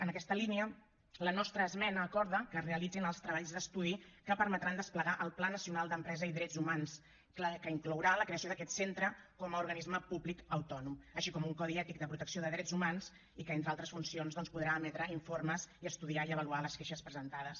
en aquesta línia la nostra esmena acorda que es realitzin els treballs d’estudi que permetran desplegar el pla nacional d’empresa i drets humans que inclourà la creació d’aquest centre com a organisme públic autònom així com un codi ètic de protecció de drets humans i que entre altres funcions doncs podrà emetre informes i estudiar i avaluar les queixes presentades